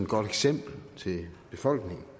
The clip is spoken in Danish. godt eksempel til befolkningen